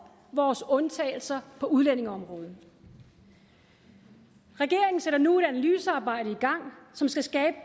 vores undtagelser på udlændingeområdet regeringen sætter nu et analysearbejde i gang som skal skabe